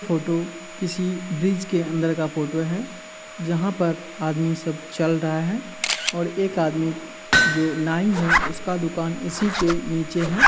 Photo किसी bridge के अंदर का फोटो है जहा पर आदमी सब चल रहा है और एक आदमी जो नाइ है इसका दुकान इसी के नीचे है।